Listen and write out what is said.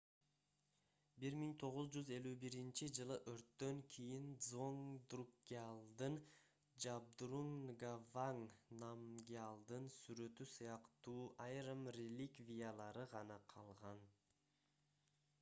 1951-жылы өрттөн кийин дзонг друкгьялдын жабдрунг нгаванг намгьялдын сүрөтү сыяктуу айрым реликвиялары гана калган